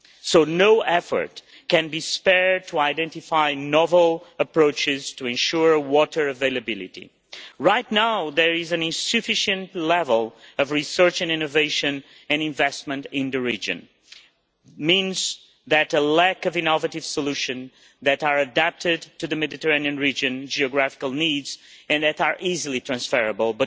So no effort can be spared to identify novel approaches to ensure water availability. Right now there is an insufficient level of research and innovation and investment in the region. This means a lack of innovative solutions that are adapted to the Mediterranean region's geographical needs and that are easily transferable.